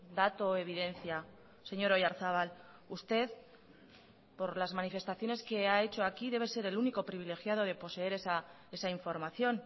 dato o evidencia señor oyarzabal usted por las manifestaciones que ha hecho aquí debe ser el único privilegiado de poseer esa información